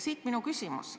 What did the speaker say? Siit minu küsimus.